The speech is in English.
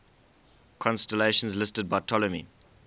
constellations listed by ptolemy